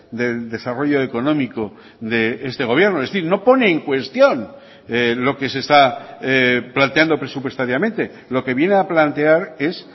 del desarrollo económico de este gobierno es decir no pone en cuestión lo que se está planteando presupuestariamente lo que viene a plantear es